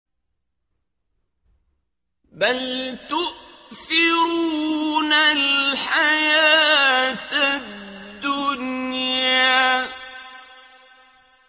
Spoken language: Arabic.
بَلْ تُؤْثِرُونَ الْحَيَاةَ الدُّنْيَا